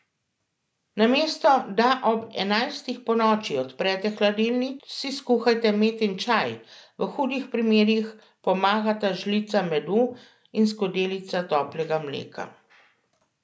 Namesto da ob enajstih ponoči odprete hladilnik, si skuhajte metin čaj, v hudih primerih pomagata žlica medu in skodelica toplega mleka.